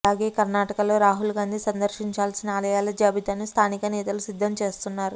అలాగే కర్ణాటకలో రాహుల్ గాంధీ సందర్శించాల్సిన ఆలయాల జాబితాను స్థానిక నేతలు సిద్ధం చేస్తున్నారు